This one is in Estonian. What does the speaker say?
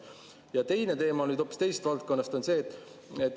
Ja teine teema hoopis teisest valdkonnast on see.